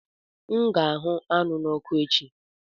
Aga m ahụ anụ n'oku echi